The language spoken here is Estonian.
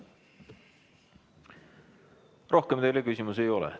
Rohkem teile küsimusi ei ole.